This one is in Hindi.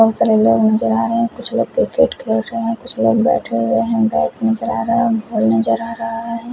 बहुत सारे लोग नजर आ रहे हैं कुछ लोग क्रिकेट खेल रहे हैं कुछ लोग बैठे हुए हैं बैट नजर आ रहा हैं बॉल नजर आ रहा है।